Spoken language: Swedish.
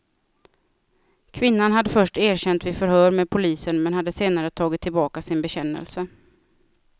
Kvinnan hade först erkänt vid förhör med polisen men hade senare tagit tillbaka sin bekännelse.